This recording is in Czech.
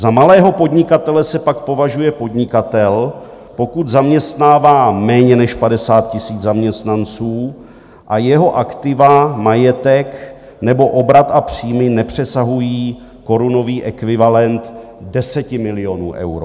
Za malého podnikatele se pak považuje podnikatel, pokud zaměstnává méně než 50 tisíc zaměstnanců a jeho aktiva, majetek nebo obrat a příjmy, nepřesahují korunový ekvivalent 10 milionů euro.